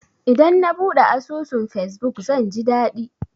Idan na buɗe asusun fesbuk, zan ji daɗi.